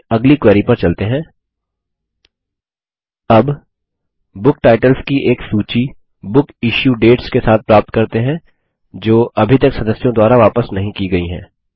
अबbook titles की एक सूची बुक इश्यू डेट्स के साथ प्राप्त करते हैं जो अभी तक सदस्यों द्वारा वापस नहीं की गयी हैं